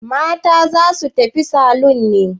Mata za su tafi salon ne?